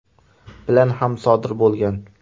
bilan ham sodir bo‘lgan.